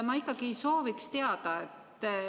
Ma ikkagi sooviks teada.